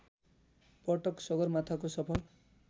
पटक सगरमाथाको सफल